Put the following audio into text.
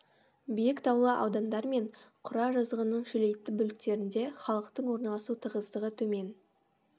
биік таулы аудандар мен құра жазығының шөлейтті бөліктерінде халықтың орналасу тығыздығы төмен